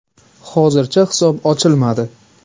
Hozircha, hisob ochilmadi.